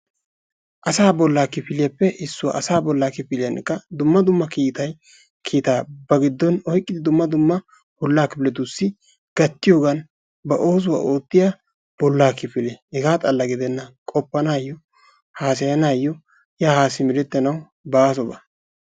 asaa bolla kifiliyappe issuwaa, asaa bolla kifiliyankka dumma kiita ba giddon oyqqida dumma dumma bolla kifiletussi gattiyoogan ba oosuwaa oottiyaa bolla kifile. hegaa xalla gidenna qopanayyo, haassayanaw yaa haa simerettanaw baaso ba.